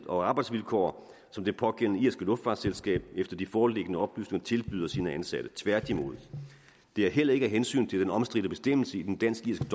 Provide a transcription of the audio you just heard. og arbejdsvilkår som det pågældende irske luftfartsselskab efter de foreliggende oplysninger tilbyder sine ansatte tværtimod det er heller ikke af hensyn til den omstridte bestemmelse i den dansk